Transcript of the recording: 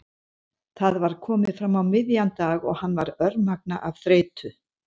Það var komið fram á miðjan dag og hann var örmagna af þreytu.